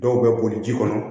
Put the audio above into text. Dɔw bɛ boli ji kɔnɔ